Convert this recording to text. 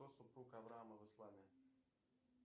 кто супруг авраама в исламе